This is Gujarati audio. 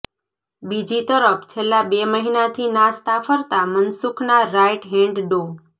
બીજી તરફ છેલ્લા બે મહિનાથી નાસતા ફરતાં મનસુખના રાઈટ હેન્ડ ડો